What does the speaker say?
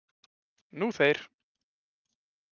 Nú þeir.